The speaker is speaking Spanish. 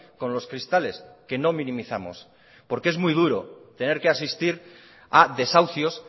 con los cristales que no minimizamos porque es muy duro tener que asistir a desahucios